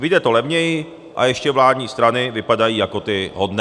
Vyjde to levněji a ještě vládní strany vypadají jako ty hodné.